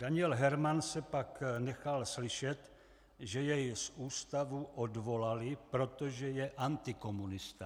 Daniel Hermann se pak nechal slyšet, že jej z ústavu odvolali, protože je antikomunista.